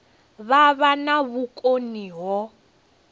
vha vha na vhukoni ho